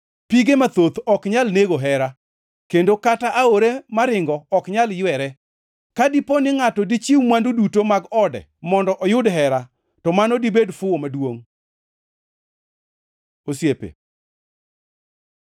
Pige mathoth ok nyal nego hera; kendo kata aore maringo ok nyal ywere. Ka dipo ni ngʼato dichiw mwandu duto mag ode mondo oyud hera, to mano dibed fuwo maduongʼ. Osiepe